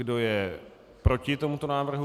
Kdo je proti tomuto návrhu?